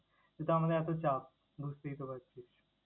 যেহেতু আমাদের এতো চাপ, বুঝতেই তো পারছিস।